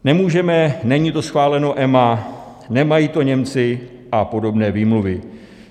Nemůžeme, není to schváleno EMA, nemají to Němci a podobné výmluvy.